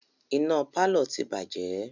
Iná pálọ̀ náà ti bàjẹ́